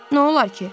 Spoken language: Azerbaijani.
Nə olar ki?